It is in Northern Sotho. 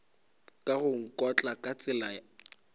ka go nkotla ka tsela